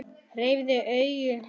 Hreyft augu hennar.